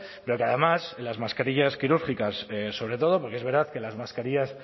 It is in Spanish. pero que además en las mascarillas quirúrgicas sobre todo porque es verdad que las mascarillas